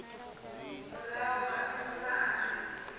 murahu ha miṅwaha mivhili ya